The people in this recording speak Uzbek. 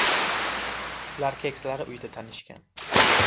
Ular keksalar uyida tanishgan.